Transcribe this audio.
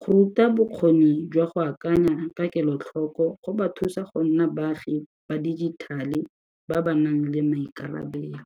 Go ruta bokgoni jwa go akanya ka kelotlhoko go ba thusa go nna baagi ba digital-e ba ba nang le maikarabelo.